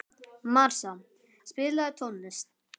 Marsa, spilaðu tónlist.